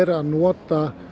að nota